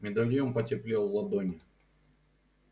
медальон потеплел в ладони